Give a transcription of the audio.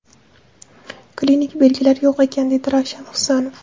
Klinik belgilari yo‘q ekan”, dedi Ravshan Husanov.